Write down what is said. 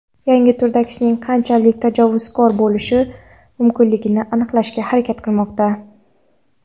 yangi turdagisining qanchalik tajovuzkor bo‘lishi mumkinligini aniqlashga harakat qilmoqda.